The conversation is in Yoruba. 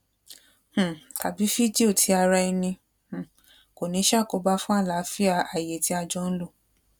um tàbí fídíò ti araẹni um kò ní ṣàkóbá fún àlááfíà àyè tí a jọ ń lò